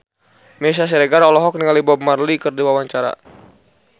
Meisya Siregar olohok ningali Bob Marley keur diwawancara